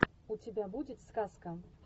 у тебя будет сказка